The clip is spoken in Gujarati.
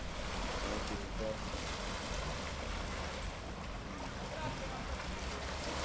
એસી ઉપર હમ